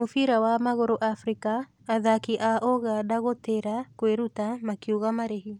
Mũbira wa magũrũ Afrika: athaki a Ũganda gũtĩra kwĩruta makiuga marĩhi.